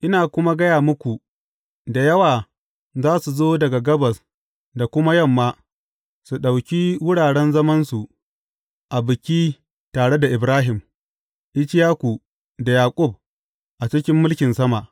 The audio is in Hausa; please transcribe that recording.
Ina kuma gaya muku da yawa za su zo daga gabas da kuma yamma, su ɗauki wuraren zamansu a biki tare da Ibrahim, Ishaku, da Yaƙub a cikin mulkin sama.